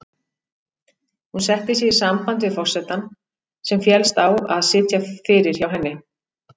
Hún setti sig í samband við forsetann, sem féllst á að sitja fyrir hjá henni.